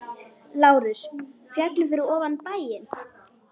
LÁRUS: Fjallið fyrir ofan bæinn.